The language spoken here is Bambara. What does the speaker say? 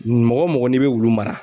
Mɔgɔ mɔgɔ n'i be wulu mara